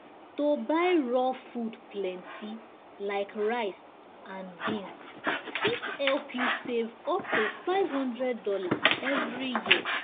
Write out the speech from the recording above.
to buy raw food plenty like rice and beans fit help you save up to five hundred dollars every year.